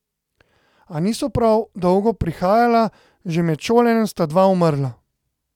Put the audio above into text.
A niso prav dolgo prihajala: 'Že med šolanjem sta dva umrla.